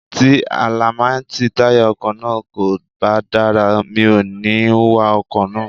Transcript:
Tí àláímẹ́ntì táyà ọkọ̀ náà kò bá dára, mi ò ní wa ọkọ̀ náà.